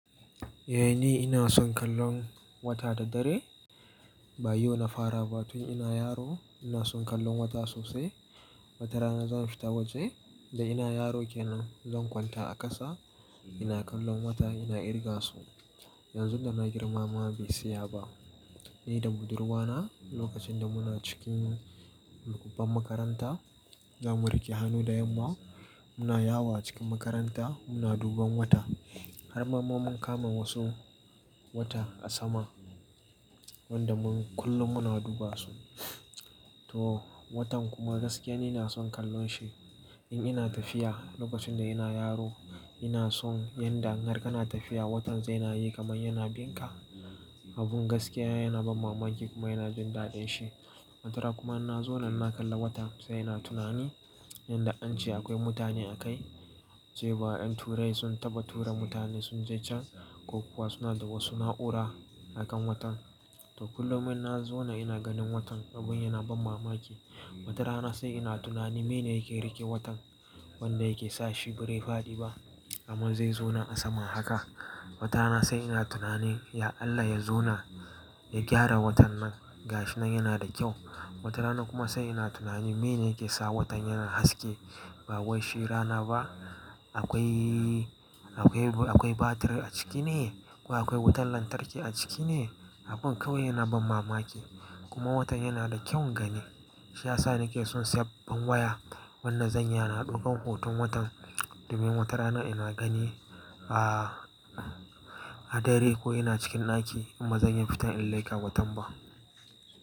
Eh ni ina son kallon wata da dare. Bayau na fara ba tun ina yaro ina son kallon wata sosai. Watarana zan fita waje da ina yaro kenan zan kwanta a kasa ina kallon wata ina kirga su. Yanzu da na girma ma bai tsaya ba. Ni da budurwa na lokacin da muna cikin babban makaranta zamu rike hannu da yamma muna yawo a cikin makaranta muna duban wata. Har mamman mun kama wasu wata a sama wanda mun kullum muna duba su. To watan kuma gaskiya ni ina son kallon shi. In ina tafiya lokacin da ina yaro ina son yanda harkar na tafiya watan zai na yi kamar yana bin ka. Abun gaskiya yana ban mamaki kuma yana jin daɗin shi. Watarana kuma na zauna na kalla wata sai na tunani yanda an ce akwai mutane a kai, cewa ƴan turai sun taba tura mutane sun je can ko kuwa suna da wasu na'ura a kan watan. To kullum in na zauna ina ganin watan abun yana ban mamaki. Watarana sai ina tunani mene yake rike watan wanda yake sa shi bai faɗi ba, amma zai zauna a sama haka. Watarana sai ina tunani ya Allah ya zauna ya gyara watan nan ga shi nan yana da kyau. Watarana kuma sai ina tunani mene yake sa watan yana haske ba wai sherana ba. Akwai, akwai, akwai batir a ciki ne ko akwai wutan lantarki a ciki ne? Abun kawai yana ban mamaki. Kuma watan yana da kyaun gani. Shi ya sa nake son sayan babban waya wanda zanyi yana ɗaukan hoton watan domin watarana ina gani a, a dare ko ina cikin ɗaki kuma zanyi fitan in laika watan ba.